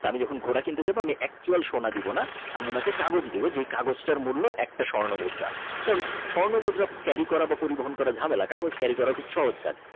আমি যখন ঘোড়া কিনতে যাব Actual সোনা দেবো না আমি ওনাকে কাগজ দেবো যে কাগজটা মূল্য একটি স্বর্ণমুদ্রা কারণ স্বর্ণমুদ্রা Carry করা বা পরিবহন করা ঝামেলা কাগজ Carry করা খুব সহজ কাজ।